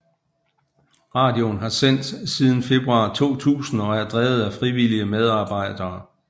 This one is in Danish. Radioen har sendt siden februar 2000 og er drevet af frivillige medarbejdere